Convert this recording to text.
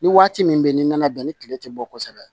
Ni waati min bɛ ni na bɛn ni tile tɛ bɔ kosɛbɛ